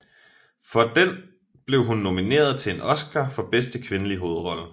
For den blev hun nomineret til en Oscar for bedste kvindelige hovedrolle